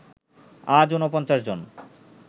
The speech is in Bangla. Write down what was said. আজ ৪৯ জন